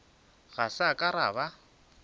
ga sa ka ra ba